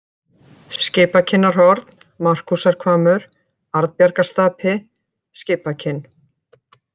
Skipakinnarhorn, Markúsarhvammur, Arnbjargarstapi, Skipakinn